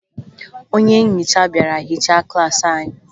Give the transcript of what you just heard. Onye nhicha bịara hichaa klaasị anyị